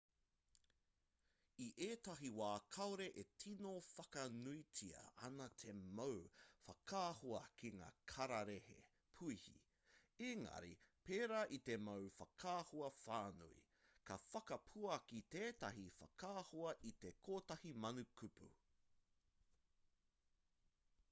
i ētahi wā kāore e tino whakanuitia ana te mau whakaahua ki ngā kararehe puihi engari pērā i te mau whakaahua whānui ka whakapuaki tētahi whakaahua i te kotahi mano kupu